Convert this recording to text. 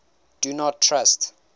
do not trust